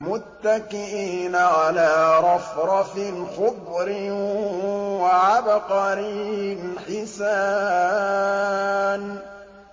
مُتَّكِئِينَ عَلَىٰ رَفْرَفٍ خُضْرٍ وَعَبْقَرِيٍّ حِسَانٍ